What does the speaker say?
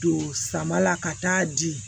Don sama la ka taa di